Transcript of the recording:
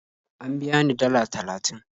An biya ni dalla talatin